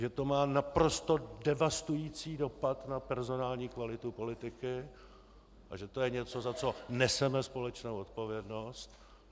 Že to má naprosto devastující dopad na personální kvalitu politiky a že to je něco, za co neseme společnou odpovědnost.